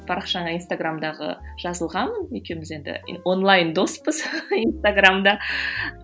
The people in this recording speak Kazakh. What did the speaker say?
парақшаңа инстаграмдағы жазылғанмын екеуміз енді онлайн доспыз инстаграмда